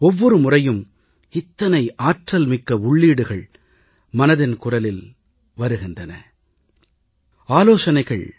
ஒவ்வொரு முறையும் இத்தனை ஆற்றல்மிக்க உள்ளீடுகள் மனதின் குரலில் வருகின்றன இவை பற்றி அரசு தரப்பில் விபரமான ஆய்வுகள் செய்யப்படுகின்றன